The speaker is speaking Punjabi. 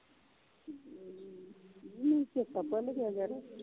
ਨੀ ਮੈਨੂੰ ਚੇਤਾ ਭੁੱਲ ਗਿਆ ਯਾਰ।